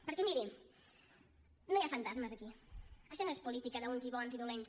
perquè miri no hi ha fantasmes aquí això no és política d’uns bons i uns dolents